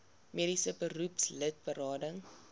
mediese beroepslid berading